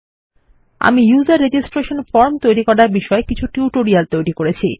আমি user registration form তৈরী করার বিষয় কিছু টিউটোরিয়াল তৈরী করেছি